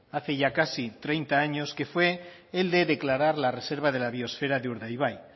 hace ya casi treinta años que fue el de declarar la reserva de la biosfera de urdaibai